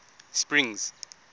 springs